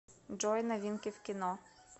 джой новинки в кино